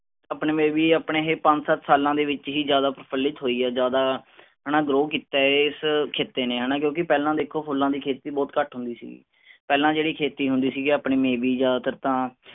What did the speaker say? ਆਪਣੇ ਮੈ ਵੀ ਆਪਣੇ ਏਹੇ ਪੰਜ ਸੱਤ ਸਾਲਾਂ ਦੇ ਵਿਚ ਹੀ ਜਿਆਦਾ ਪ੍ਰਚਲਿਤ ਹੋਈ ਆ ਜ਼ਿਆਦਾ ਹੈਨਾ grow ਕਿੱਤਾ ਹੈ ਇਸ ਖੇਤੀ ਨੇ ਹੈਨਾ ਕਿਉਂਕਿ ਪਹਿਲਾਂ ਦੇਖੋ ਫੁੱਲਾਂ ਦੀ ਖੇਤੀ ਬਹੁਤ ਘਟ ਹੁੰਦੀ ਸੀਗੀ। ਪਹਿਲਾਂ ਜਿਹੜੀ ਖੇਤੀ ਹੁੰਦੀ ਸੀ ਆਪਣੀ may be ਜ਼ਿਆਦਾਤਰ ਤਾ